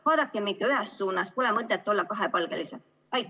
Vaadakem ikka ühes suunas, pole mõtet olla kahepalgelised!